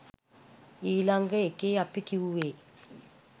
ඊළඟ එකේ අපි කිව්වේ